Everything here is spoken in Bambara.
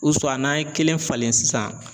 n'an ye kelen falen sisan